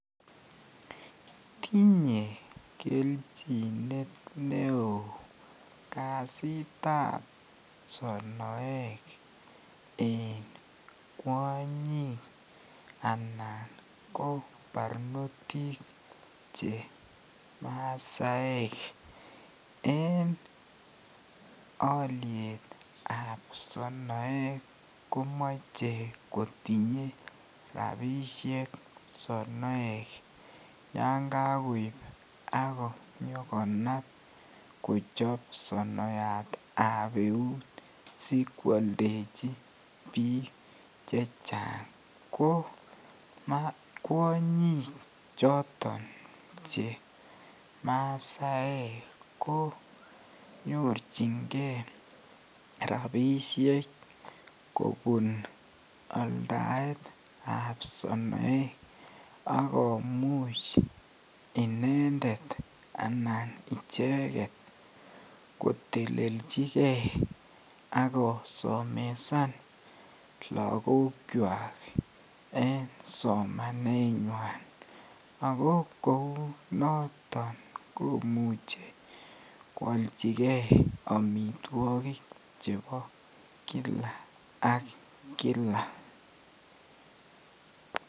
Tinye kelchinet neoo kasitab sonoek en kwonyik anan ko barnotik che masaek en olietab sonoek komoche kotinye rabishek sonoek yoon kokoib ak konyokonab kochob sonoyatab euut, sikwoldechi biik chechang, ko kwonyik choton che masaek ko nyorchinge rabishek kobun aldaetab sonoek ak komuch inendet anan icheket kotelelchike ak kosomesan lokokwak en somanenywan ak ko kounoton komuche kwolchike amitwokik chebo kila ak kila.